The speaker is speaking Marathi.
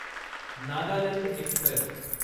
नागालँड एक्स्प्रेस